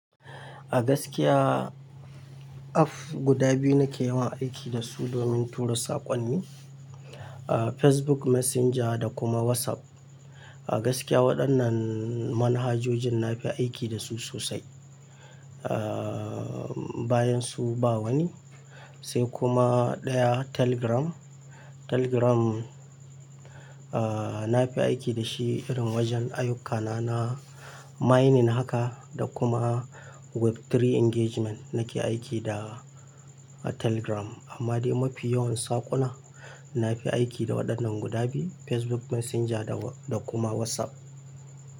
A gaskiya app guda biyu nake yawan aiki da su domin tura saƙonni, ah Facebook Messenger da kuma WhatsApp. A gaskiya waɗannan manhajojin nafi aiki da su sosai, ah bayan su ba wani. Sai kuma ɗaya Telegram. Telegram ah nafi aiki da shi irin wajen ayyukana na mining haka da kuma Web3 engagement nake aiki da Telegram. Amma dai mafi yawan saƙona nafi aiki da waɗannan guda biyu, Facebook Messenger da kuma WhatsApp.